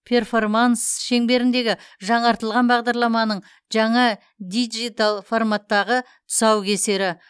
перформанс шеңберіндегі жаңартылған бағдарламаның жаңа диджитал форматтағы тұсаукесері